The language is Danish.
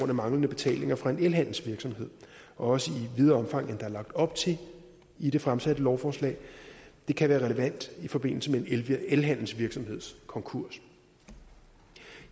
af manglende betalinger fra en elhandelsvirksomhed også i videre omfang end der er lagt op til i det fremsatte lovforslag det kan være relevant i forbindelse med en elhandelsvirksomheds konkurs